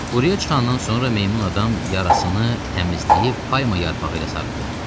Quruya çıxandan sonra meymun adam yarasını təmizləyib payma yarpağı ilə sarıdı.